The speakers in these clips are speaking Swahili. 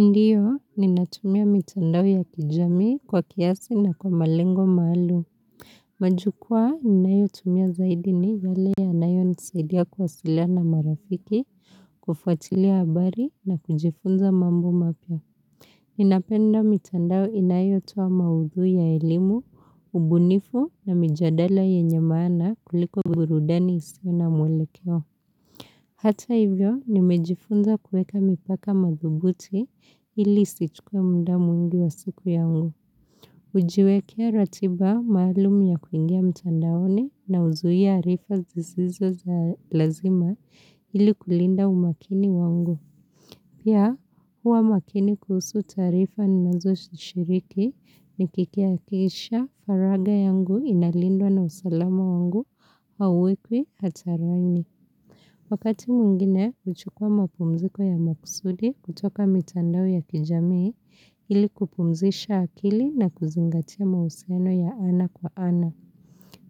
Ndio, ninatumia mitandao ya kijamii kwa kiasi na kwa malengo maalum. Majukua, ninayotumia zaidi ni yale yanayo nisaidia kuwasiliana marafiki, kufuatilia habari na kujifunza mambo mapya. Ninapenda mitandao inayo toa maudhui ya elimu, ubunifu na mijadala yenye maana kuliko burudani isio na mwelekeo. Hata hivyo, nimejifunza kueka mipaka madhubuti ili isichukue mda mwingi wa siku yangu. Kujiwekea ratiba maalum ya kuingia mtandaoni na uzuia arifa zisizo za lazima ili kulinda umakini wangu. Pia, hua makini kuhusu taarifa ninazo zishiriki nikikiakisha faraga yangu inalindwa na usalama wangu hauwekwi hataraini. Wakati mwingine, huchukua mapumziko ya maksudi kutoka mitandao ya kijamii ili kupumzisha akili na kuzingatia mahusiano ya ana kwa ana.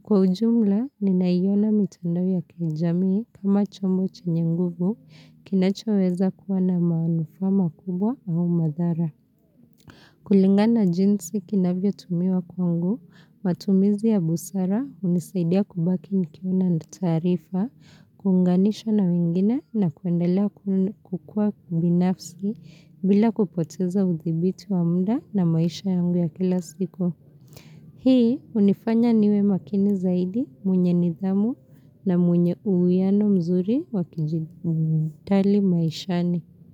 Kwa ujumla, ninayiona mitandao ya kijamii kama chombo chenye nguvu kinachoweza kuwa na maanufa makubwa au madhara. Kulingana jinsi kinavyo tumiwa kwangu, matumizi ya busara hunisaidia kubaki nikiona na taarifa, kuunganisha na wengine na kuendela kukua kubinafsi bila kupoteza uthibiti wa mda na maisha yangu ya kila siku. Hii hunifanya niwe makini zaidi mwenye nidhamu na mwenye uuiano mzuri wakijitali maishani.